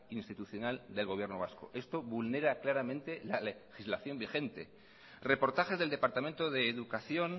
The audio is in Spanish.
institucional del gobierno vasco esto vulnera claramente la legislación vigente reportajes del departamento de educación